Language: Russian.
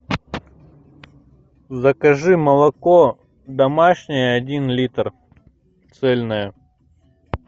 закажи молоко домашнее один литр цельное